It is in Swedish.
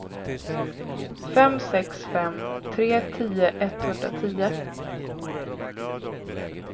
fem sex fem tre tio etthundratio